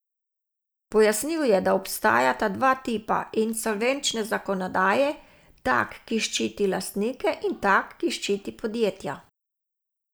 Pojasnil je, da obstajata dva tipa insolvenčne zakonodaje, tak, ki ščiti lastnike, in tak, ki ščiti podjetja.